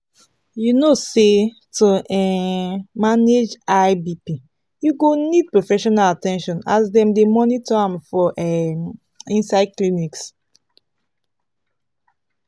you no say to um manage high bp you go need professional at ten tion as dem dey monitor am for um inside clinics